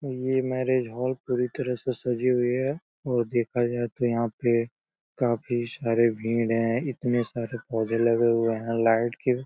यह marriage hall पूरी तरह से सजी हुई है और देखा जाये तो यहाँ पे काफी सारी भीड़ हैं। इतने सारे पौधे लगे हुए हैं लाइट के।